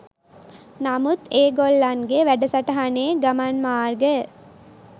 නමුත් ඒ ගොල්ලන්ගේ වැඩසටහනේ ගමන් මාර්ගය